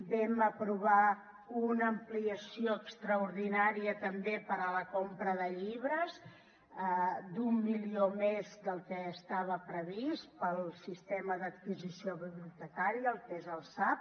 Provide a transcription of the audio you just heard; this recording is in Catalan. vam aprovar una ampliació extraordinària també per a la compra de llibres d’un milió més del que estava previst pel sistema d’adquisició bibliotecària el que és el sab